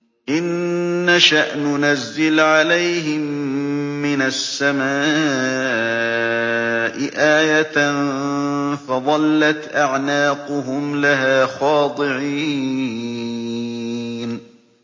إِن نَّشَأْ نُنَزِّلْ عَلَيْهِم مِّنَ السَّمَاءِ آيَةً فَظَلَّتْ أَعْنَاقُهُمْ لَهَا خَاضِعِينَ